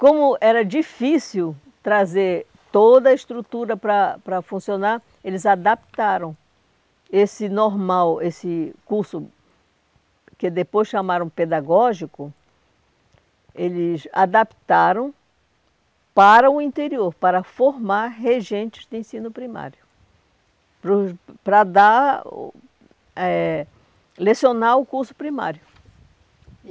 Como era difícil trazer toda a estrutura para para funcionar, eles adaptaram esse normal, esse curso que depois chamaram pedagógico, eles adaptaram para o interior, para formar regentes de ensino primário, para o para dar o eh, lecionar o curso primário.